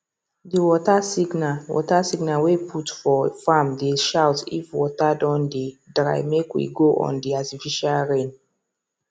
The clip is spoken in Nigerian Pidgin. the water signal water signal wey put for farmdey shoutif water don dey drymake we go on the artificial rain